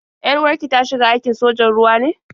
Yar-uwar ki ta shiga aikin sojan ruwa ne?